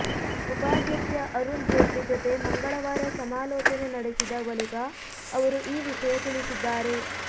ಉಪಾಧ್ಯಕ್ಷ ಅರುಣ್ ಜೇಟ್ಲಿ ಜೊತೆ ಮಂಗಳವಾರ ಸಮಾಲೋಚನೆ ನಡೆಸಿದ ಬಳಿಕ ಅವರು ಈ ವಿಷಯ ತಿಳಿಸಿದ್ದಾರೆ